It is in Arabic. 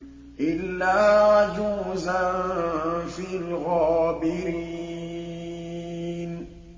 إِلَّا عَجُوزًا فِي الْغَابِرِينَ